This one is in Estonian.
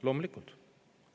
Loomulikult!